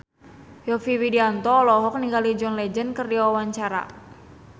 Yovie Widianto olohok ningali John Legend keur diwawancara